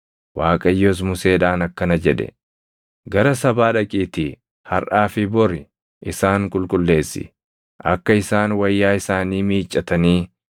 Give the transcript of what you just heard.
Waaqayyos Museedhaan akkana jedhe; “Gara sabaa dhaqiitii harʼaa fi bori isaan qulqulleessi. Akka isaan wayyaa isaanii miiccatanii